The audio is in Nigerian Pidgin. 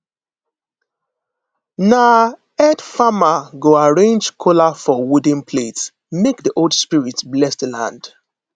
na head farmer go arrange kola for wooden plate make the old spirits bless the land